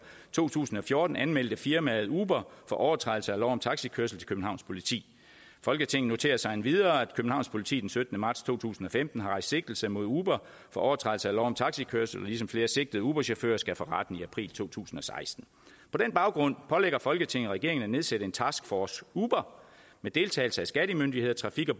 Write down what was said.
to tusind og fjorten anmeldte firmaet uber for overtrædelse af lov om taxikørsel til københavns politi folketinget noterer sig endvidere at københavns politi den syttende marts to tusind og femten har rejst sigtelse mod uber for overtrædelse af lov om taxikørsel ligesom flere sigtede uberchauffører skal for retten i april to tusind og seksten på den baggrund pålægger folketinget regeringen at nedsætte en task force uber med deltagelse af skattemyndigheder trafik og